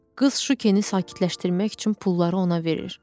Qız Şukini sakitləşdirmək üçün pulları ona verir.